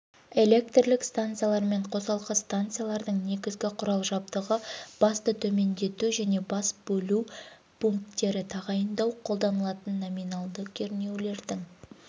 электрлік станциялар мен қосалқы станциялардың негізгі құрал жабдығы басты төмендету және бас бөлу пункттері тағайындау қолданылатын номинальді кернеулердің